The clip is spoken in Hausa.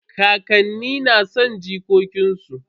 Kakanni na son jikokin su.